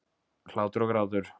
Hlátur og grátur.